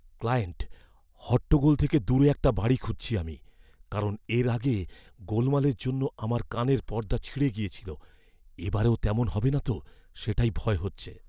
Client, "হট্টগোল থেকে দূরে একটা বাড়ি খুঁজছি আমি। কারণ এর আগে, গোলমালের জন্য আমার কানের পর্দা ছিঁড়ে গিয়েছিল। এ বারেও তেমন হবে না তো, সেটাই ভয় হচ্ছে।"